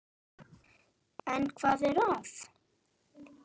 En hvað er að?